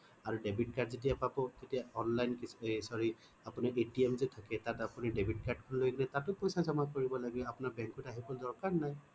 আৰু debit card যেতিয়া পাব তেতিয়া online sorry আপোনাৰ atm যে থাকে তাত আপুনি debit card খন লৈ গলে তাতো পইছা জমা কৰিব লাগে আপোনাৰ bank ত আহিব দৰকাৰ নাই